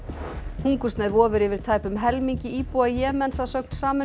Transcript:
hungursneyð vofir yfir tæpum helmingi íbúa Jemens að sögn Sameinuðu